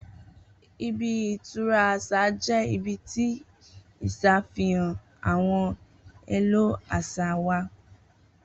Ibi-itura àṣà jẹ́ ibi tí ìṣà fihàn àwọn èlò aṣa wa